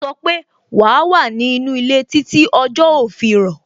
Ó sọ pé "wa wà ní inú ilé títí tí ọjọ́ ó fi rọ̀